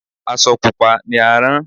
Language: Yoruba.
Asọ Pupa ni a rán.